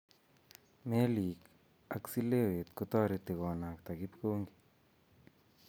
Meelik ak seleweet kotoreti konakta kipkongi